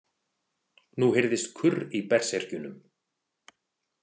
Nú heyrðist kurr í berserkjunum.